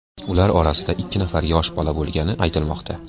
Ular orasida ikki nafar yosh bola bo‘lgani aytilmoqda.